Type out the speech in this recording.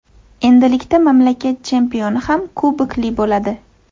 Endilikda mamlakat chempioni ham kubokli bo‘ladi.